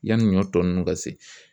Yanni ɲɔ tɔ ninnu ka se